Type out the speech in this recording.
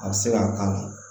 A bɛ se ka k'a la